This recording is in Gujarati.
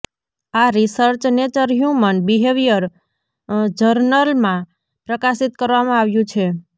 આ રિસર્ચ નેચર હ્યુમન બિહેવિયર જર્નલમાં પ્રકાશિત કરવામાં આવ્યું છે